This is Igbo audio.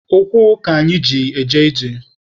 Ụkwụ ka anyị ji eje ije.